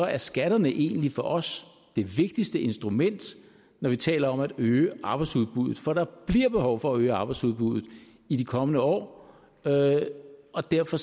er skatterne egentlig for os det vigtigste instrument når vi taler om at øge arbejdsudbuddet for der bliver behov for at øge arbejdsudbuddet i de kommende år og derfor